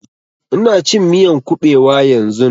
Ina cin miyan ƙubewa yanzun